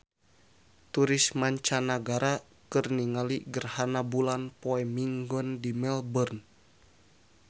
Turis mancanagara keur ningali gerhana bulan poe Minggon di Melbourne